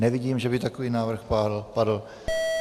Nevidím, že by takový návrh padl.